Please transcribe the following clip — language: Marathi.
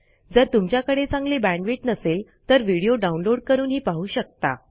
जर तुमच्याकडे चांगली बॅण्डविड्थ नसेल तर व्हिडिओ डाउनलोड करूनही पाहू शकता